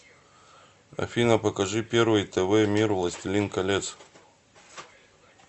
афина покажи первый тв мир властелин колец